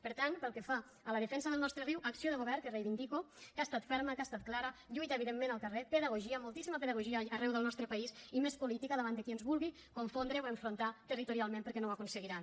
per tant pel que fa a la defensa del nostre riu acció de govern que reivindico que ha estat ferma que ha estat clara lluita evidentment al carrer pedagogia moltíssima pedagogia arreu del nostre país i més política davant de qui ens vulgui confondre o enfrontar territorialment perquè no ho aconseguiran